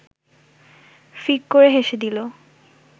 ফিক করে হেসে দিল